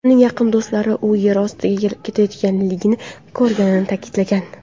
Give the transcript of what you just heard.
Uning yaqin do‘stlari u yer ostiga ketayotganligini ko‘rganini ta’kidlagan.